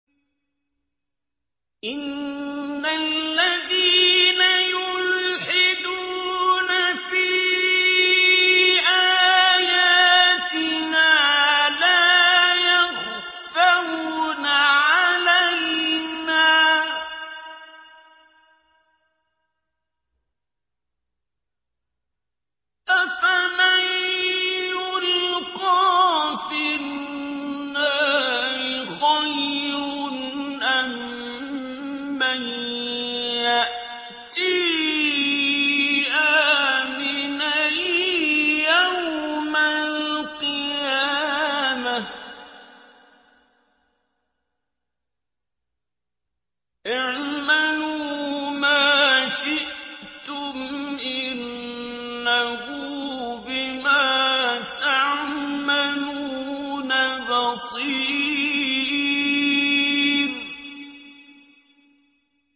إِنَّ الَّذِينَ يُلْحِدُونَ فِي آيَاتِنَا لَا يَخْفَوْنَ عَلَيْنَا ۗ أَفَمَن يُلْقَىٰ فِي النَّارِ خَيْرٌ أَم مَّن يَأْتِي آمِنًا يَوْمَ الْقِيَامَةِ ۚ اعْمَلُوا مَا شِئْتُمْ ۖ إِنَّهُ بِمَا تَعْمَلُونَ بَصِيرٌ